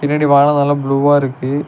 பின்னாடி வானோ நல்லா ப்ளூவா இருக்கு.